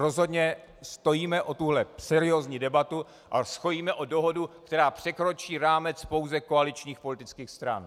Rozhodně stojíme o tuto seriózní debatu a stojíme o dohodu, která překročí rámec pouze koaličních politických stran.